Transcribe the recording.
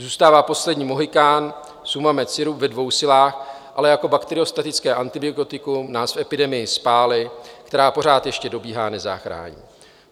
Zůstává poslední mohykán Sumamed sirup ve dvou silách, ale jako bakteriostatické antibiotikum nás v epidemii spály, která pořád ještě dobíhá, nezachrání.